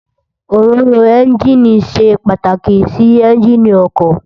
Óróró ènjiní sé pàtákí si ènjiní òkò